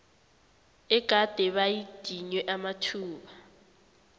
egade badinywe amathuba